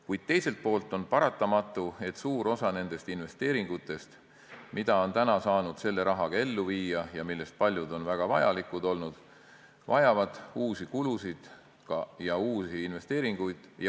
Kuid teiselt poolt on paratamatu, et suur osa nendest investeeringutest, mida seni on saanud selle rahaga ellu viia ja millest paljud on väga vajalikud olnud, vajavad uusi kulutusi ja uusi investeeringuid.